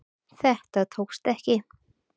Þetta tókst ekki